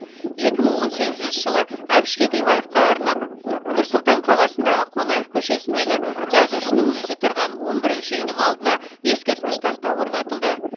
екі мың он сегізінші жылы әбіш кекілбаевқа арнап нұр сұлтан қаласындағы қонаев көшесінлдегі жазушының өзі тұрған он бірінші үйдің алдына ескерткіш тақта орнатылды